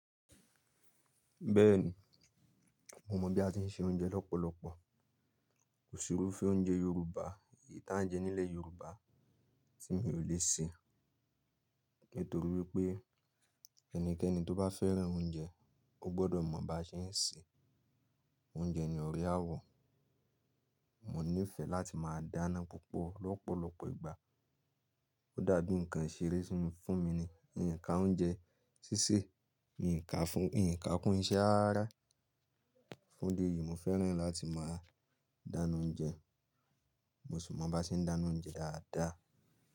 Bẹ́ẹ̀ni, mo mọ̀ bí a ti ń se oúnjẹ lọ́pọ̀lọpọ̀. Kò sì irúfẹ́ oúnjẹ Yorùbá, èyí tí à ń jẹ nílẹ̀ Yorùbá tí mi ò lè ṣe. Nítorí wipé ẹnikẹ́ni tó bá fẹ́ràn oúnjẹ, ó gbọ́dọ̀ mọ̀ bá ṣe ń ṣe. Oúnjẹ ni ọ̀rẹ́ àwọ̀. Mo níìfẹ̀ láti máa dáná púpọ̀ lọ́pọ̀lọpọ̀ ìgbà. Ó dàbí nǹkan ìṣeré fún mi ní. N ka oúnjẹ ṣíṣe, N ka fún, N ka kún iṣẹ́ rarara. Fún idi èyí, mo fẹ́ràn láti máa dáná oúnjẹ. Mo sì mo bá ṣe ń dáná oúnjẹ dáadáa.